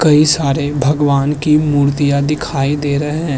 कई सारे भगवान की मूर्तियाँ दिखाई दे रहे हैं।